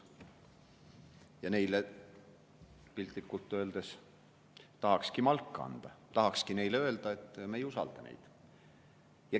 Ja neile piltlikult öeldes tahakski malka anda, tahakski neile öelda, et me ei usalda neid.